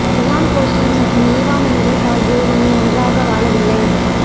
Ryan Gosling மற்றும் Eva Mendes ஆகியோர் இனி ஒன்றாக வாழவில்லை